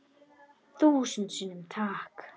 Þúsund sinnum takk.